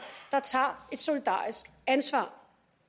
der tager et solidarisk ansvar